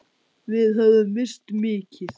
Við höfum misst mikið.